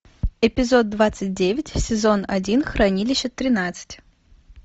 эпизод двадцать девять сезон один хранилище тринадцать